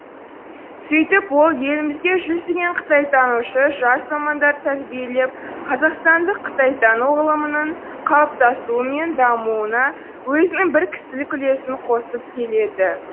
сөйтіп ол елімізге жүздеген қытайтанушы жас мамандар тәрбиелеп қазақстандық қытайтану ғылымының қалыптасуы мен дамуына өзінің бір кісілік үлесін қосып келеді